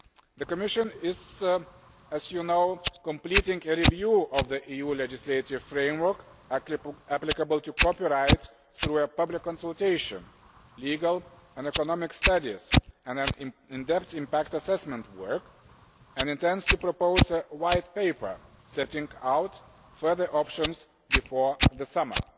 The Commission is, as you know, completing a review of the EU legislative framework applicable to copyright through a public consultation, legal and economic studies, and in depth impact assessment work, and intends to propose a White Paper setting out further options before the summer.